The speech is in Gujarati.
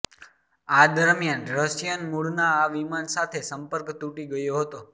આ દરમિયાન રશિયન મૂળના આ વિમાન સાથે સંપર્ક તૂટી ગયો હતો